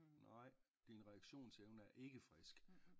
Nej din reaktionsevne er ikke frisk